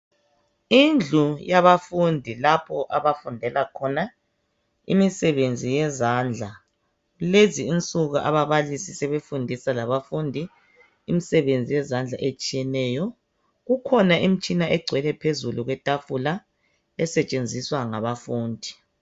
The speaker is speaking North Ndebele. Indlu yabafundi lapho abafundela khona imisebenzi yezandla. Lezi insuku ababalisi sebefundisa labafundi imisebenzi yezandla etshiyeneyo. Kukhona imitshina egcwele phezu kwetafula esetshenziswa ngabafundi.